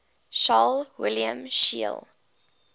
carl wilhelm scheele